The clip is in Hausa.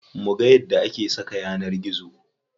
Muga yadda ake saka yanar gizo.